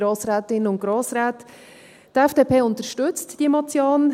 Die FDP unterstützt diese Motion.